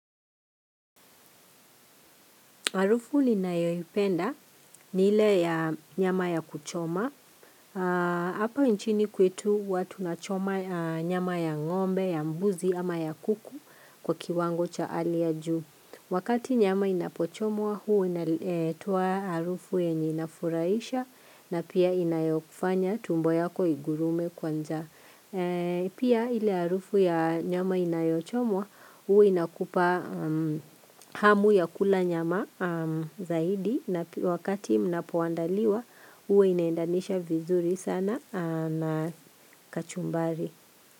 Harufu ninayoipenda ni ile ya nyama ya kuchoma. Hapa nchini kwetu huwa tunachoma nyama ya ngombe, ya mbuzi ama ya kuku kwa kiwango cha hali ya juu. Wakati nyama inapochomwa huu inatoa jarufu yenye ininafurahisha na pia inayokufanya tumbo yako igurume kwa njaa. Pia ile harufu ya nyama inayochomwa huwa inakupa hamu ya kula nyama zaidi na wakati mnapoandaliwa huwa inaendanisha vizuri sana na kachumbari.